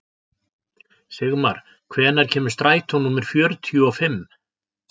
Sigmar, hvenær kemur strætó númer fjörutíu og fimm?